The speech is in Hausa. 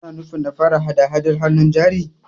Kana nufin na fara hada-Hadar hannun jari?